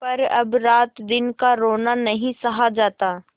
पर अब रातदिन का रोना नहीं सहा जाता